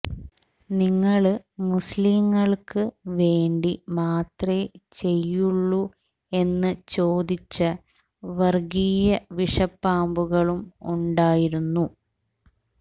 നിങ്ങള് മുസ്ലീങ്ങള്ക്ക് വേണ്ടി മാത്രേ ചെയ്യുള്ളൂ എന്നു ചോദിച്ച വര്ഗീയ വിഷപ്പാമ്പുകളും ഉണ്ടായിരുന്നു